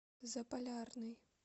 заполярный